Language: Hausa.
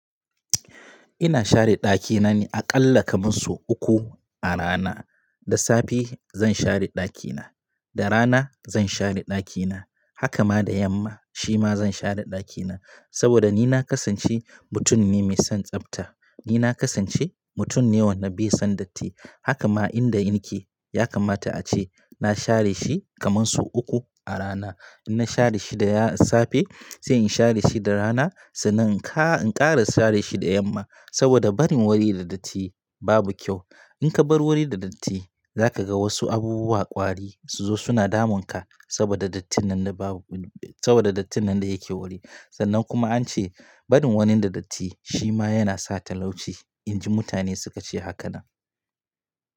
Ina share ɗaki na ne a ƙalla kamar sau uku a rana. Da safe zan share ɗaki na, da rana zan share ɗaki na, haka ma da yamma shi ma zan share ɗaki na. Saboda ni na kasance mutum ne mai son tsabta. Ni na kasance mutum ne wanda bai son datti. Haka ma inda in ke ya kamata ace na share shi kamar sau uku a rana. In na share shi da ya safe, sai in share shi da rana, sannan in ƙa--in kara share shi da yamma. Saboda barin wuri da datti babu kyau. In ka bar wuri da datti za ka ga wasu abubuwa ƙwari su zo suna damun ka saboda dattin nan na ba wan--saboda dattin nan da yake wuri. Sannan kuma an ce barin wuri da datti shi ma yana sa talauci, inji mutane suka ce hakan nan.